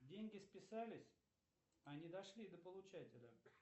деньги списались а не дошли до получателя